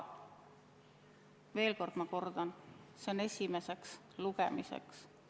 Veel kord, ma kordan: see on esimese lugemise tekst.